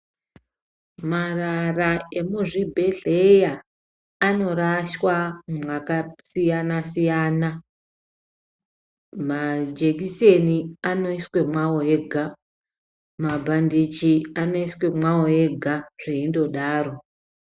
Marara emuzvibhedhlera anorashwa mwakasiyana siyana. Majekiseni anoiswe mwawo ega. Mabhandichi anoiswe mwawo ega zveindodaro.